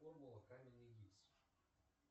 формула каменный гипс